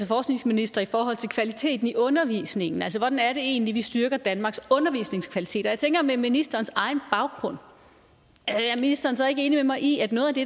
forskningsminister i forhold til kvaliteten i undervisningen altså hvordan er det egentlig vi styrker danmarks undervisningskvaliteter jeg tænker at med ministerens egen baggrund er ministeren så ikke enig med mig i at noget af det